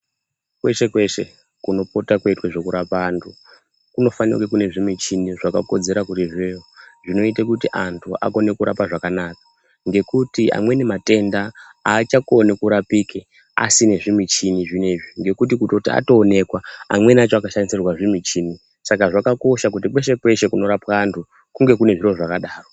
Kweshe kweshe kunopota kweitwa zvekuraoa vantu kunofanira kune zvimuchini zvakakodzera zvinoita kuti antu akone kurapa zvakanaka ngekuti amweni matenda achakoni kurapike asina zvimichini zvinenzvi ngekuti kutoti atoonekwa amweni acho anoshandisirwazve michini Saka zvakakosha kuti kweshe kweshe kunorapwe antu kunge kune zviro zvakadaro.